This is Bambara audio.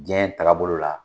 Diɲɛ in takabolo la.